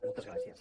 moltes gràcies